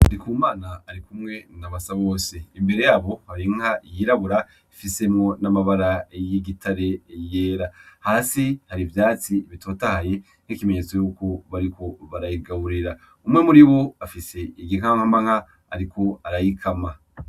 Ndikumana arikumwe na Basabose imbere yabo har'inka yirabura ifisemwo n'amabara y'igitare yera , hasi har'ivyatsi bitotahaye nk'ikimenyetso yuko bariko barayigaburira, umwe muribo afise igihahankama ariko arayikama.